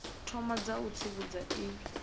thoma dza u tsivhudza i